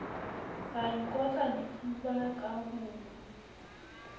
ra ikotla difuba ka ho